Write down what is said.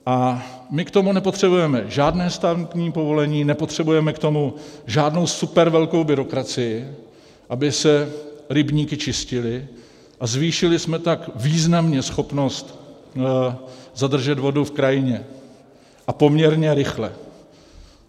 A my k tomu nepotřebujeme žádné stavební povolení, nepotřebujeme k tomu žádnou super velkou byrokracii, aby se rybníky čistily, a zvýšili jsme tak významně schopnost zadržet vod v krajině, a poměrně rychle.